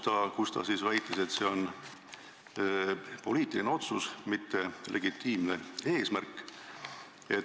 Tema väitis, et see on poliitiline otsus, mitte legitiimne eesmärk.